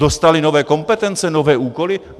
Dostali nové kompetence, nové úkoly?